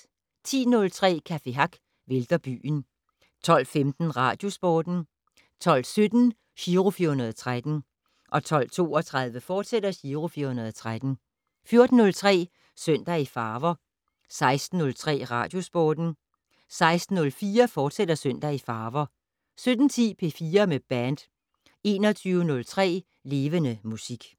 10:03: Café Hack vælter byen 12:15: Radiosporten 12:17: Giro 413 12:32: Giro 413, fortsat 14:03: Søndag i farver 16:03: Radiosporten 16:04: Søndag i farver, fortsat 17:10: P4 med band 21:03: Levende Musik